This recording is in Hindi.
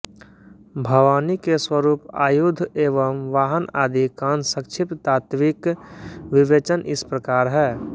भवानी के स्वरूप आयुध एवं वाहन आदि कासंक्षिप्त तात्त्विक विवेचन इस प्रकार है